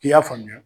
I y'a faamuya